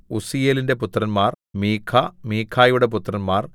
ഉസ്സീയേലിന്റെ പുത്രന്മാർ മീഖ മീഖയുടെ പുത്രന്മാർ